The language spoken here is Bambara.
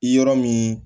Yɔrɔ min